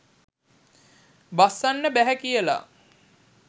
බස්සන්න බැහැ කියලා.